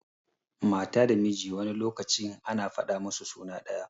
Mata da miji wani lokacin ana fada musu suna daya.